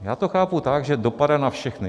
Já to chápu tak, že dopadá na všechny.